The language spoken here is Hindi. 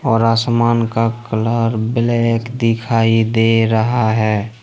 और आसमान का कलर ब्लैक दिखाई दे रहा है।